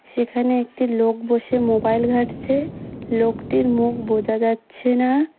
সেখানে একটি লোক বসে মোবাইল ঘাঁটছে লোকটির মুখ বোঝা যাচ্ছে না।